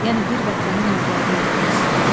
Yəni bir vətənin övladıyıq biz.